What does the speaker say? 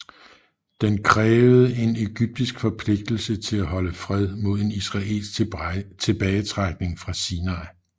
Den krævede en ægyptisk forpligtelse til at holde fred mod en israelsk tilbagetrækning fra Sinai